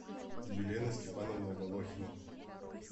елена степановна волохина